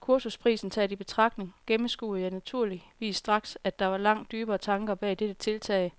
Kursusprisen taget i betragtning gennemskuede jeg naturligvis straks, at der var langt dybere tanker bag dette tiltag